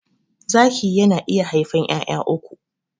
Zaki yana iya haifan 'ya'ya uku.